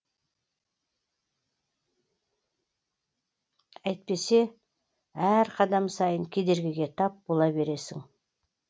әйтпесе әр қадам сайын кедергіге тап бола бересің